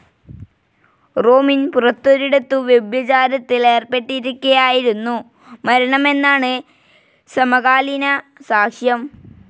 റോമിൻ പുറത്തൊരിടത്തു വ്യഭിചാരത്തിൽ ഏർപ്പെട്ടിരിക്കെയായിരുന്നു മരണമെന്നാണ് സമകാലീനസാക്ഷ്യം.